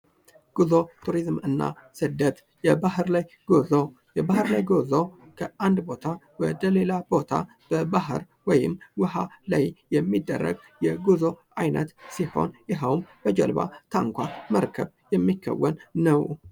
ጉዞ፣ ቱሪዝምና ስደት፦ የባህር ላይ ጉዞ ፦የባህር ላይ ጉዞ ከአንድ ቦታ ወደ ሌላ ቦታ በባር ወይም ውሃ ላይ የሚደረግ የጉዞ አይነት ሲሆን ይኸውም በጀልባ፣ ታንኳ ፣መርከብ የሚከወን ነው።